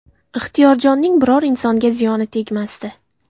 Ixtiyorjonning biror insonga ziyoni tegmasdi.